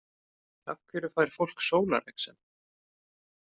Af hverju fær fólk sólarexem?